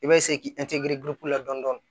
I bɛ se k'i la dɔɔni dɔɔni